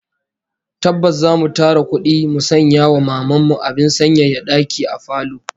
Tabbas zamu tara kudi mu sanya wa Maman mu abin sanyaya daki a falo